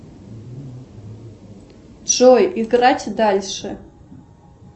джой играть дальше